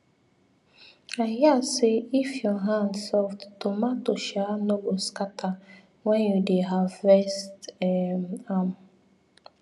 i hear say if your hand soft tomato um no go scatter when you dey harvest um am